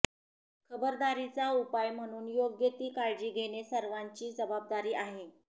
खबरदारीचा उपाय म्हणून योग्य ती काळजी घेणे सर्वांची जबाबदारी आहे